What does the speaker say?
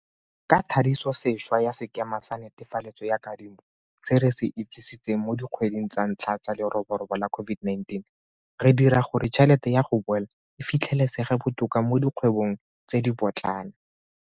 Ka thadisosešwa ya sekema sa netefaletso ya kadimo se re se itsisitseng mo dikgweding tsa ntlha tsa leroborobo la COVID19, re dira gore tšhelete ya go boela e fitlhelesege botoka mo dikgwebong tse dipotlana.